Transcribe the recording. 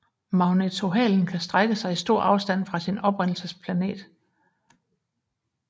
Magnetohalen kan strække sig i stor afstand fra sin oprindelsesplanet